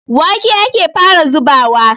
Wake ake fara zubawa.